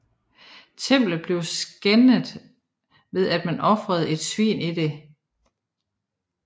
Templet blev skændet ved at man ofrede et svin i det